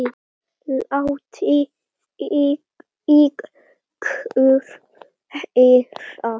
Látið í ykkur heyra!